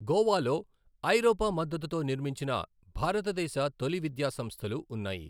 గోవాలో ఐరోపా మద్దతుతో నిర్మించిన భారతదేశ తొలి విద్యా సంస్థలు ఉన్నాయి.